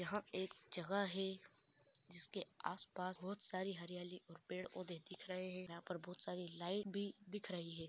यह एक जगह है जिसके आस पास बहुत सारी हरियाली और पेड़ पौधे दिख रहे है यहाँ बहुत सारी लाइट भी दिख रही है।